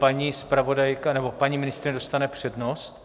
Paní zpravodajka - nebo paní ministryně dostane přednost.